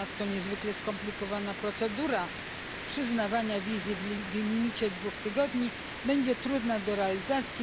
Ponadto niezwykle skomplikowana procedura przyznawania wizy w maksymalnym okresie dwóch tygodni będzie trudna do realizacji.